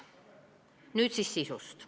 Nüüd siis eelnõu sisust.